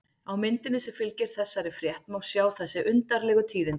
Á myndinni sem fylgir þessari frétt má sjá þessi undarlegu tíðindi.